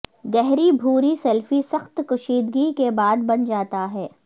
گہری بھوری سلفی سخت کشیدگی کے بعد بن جاتا ہے